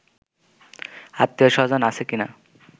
আত্মীয়স্বজন আছে কিনা